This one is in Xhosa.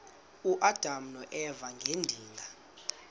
uadam noeva ngedinga